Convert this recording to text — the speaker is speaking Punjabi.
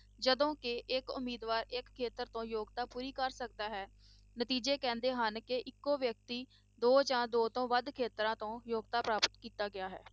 ਜਦੋਂ ਕਿ ਇੱਕ ਉਮੀਦਵਾਰ ਇੱਕ ਖੇਤਰ ਤੋਂ ਯੋਗਤਾ ਪੂਰੀ ਕਰ ਸਕਦਾ ਹੈ ਨਤੀਜੇ ਕਹਿੰਦੇ ਹਨ ਕਿ ਇੱਕੋ ਵਿਅਕਤੀ ਦੋ ਜਾਂ ਦੋ ਤੋਂ ਵੱਧ ਖੇਤਰਾਂ ਤੋਂ ਯੋਗਤਾ ਪ੍ਰਾਪਤ ਕੀਤਾ ਗਿਆ ਹੈ।